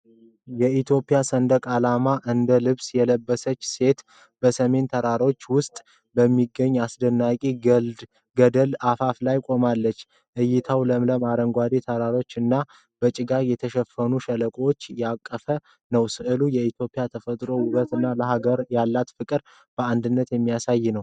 የኢትዮጵያ ሰንደቅ ዓላማን እንደ ልብስ የለበሰች ሰው በሰሚን ተራሮች ውስጥ በሚገኝ አስደናቂ ገደል አፋፍ ላይ ቆማለች። እይታው ለምለም አረንጓዴ ተራሮችን እና በጭጋግ የተሸፈኑ ሸለቆችን ያቀፈ ነው። ሥዕሉ የኢትዮጵያን ተፈጥሯዊ ውበት እና ለሀገር ያላትን ፍቅር በአንድነት የሚያሳይ ነው።